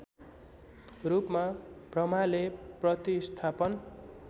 रूपमा ब्रह्माले प्रतिस्थापन